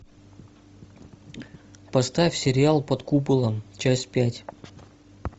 поставь сериал под куполом часть пять